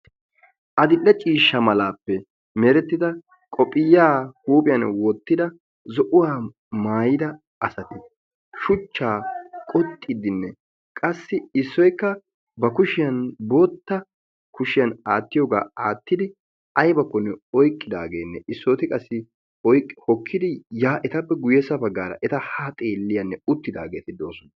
Adile ciishsha meraappe merettida qoophphiyaa huuphphiyaan wottida zo'uwaa maayida asati shuchchaa qoxxiidine qassi issoykka ba kushshiyaan bootta kushshiyaan aattiyooga aattidi aybakkonne oyqqidaageenne issoti qassi oyqqi hokkidi yaa etappe guyessa baggaara eta haa xeelliyaanne uttidaageti doosona..